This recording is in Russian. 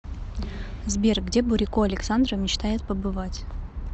сбер где бурико александра мечтает побывать